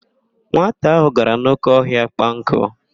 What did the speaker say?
Nwata ahụ gara n'óké ọhịa kpaa nkụ.